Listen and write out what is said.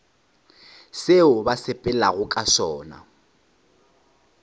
seo ba sepelago ka sona